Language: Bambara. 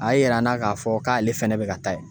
A ye yira n na k'a fɔ k'ale fɛnɛ bi ka taa yen.